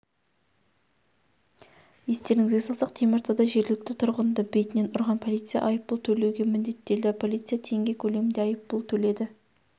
естеріңізге салсақ теміртауда жергілікті тұрғынды бетінен ұрған полиция айыппұл төлеуге міндеттелді полиция теңге көлемінде айыппұл төледі